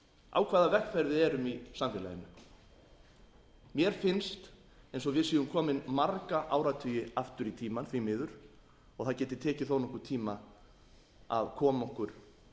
á hvaða vegferð erum við í samfélaginu mér finnst eins og við séum komin marga áratugi aftur í tímann því miður og það geti tekið þó nokkurn tíma að koma okkur